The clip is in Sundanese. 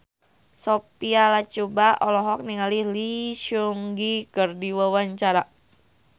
Sophia Latjuba olohok ningali Lee Seung Gi keur diwawancara